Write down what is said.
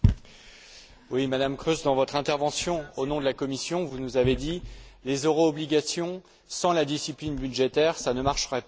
Monsieur le Président, Madame Kroes, dans votre intervention au nom de la Commission, vous nous avez dit Les euro obligations, sans la discipline budgétaire, ça ne marchera pas.